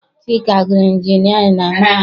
Chika gụrụ injinịarịn na mahadum.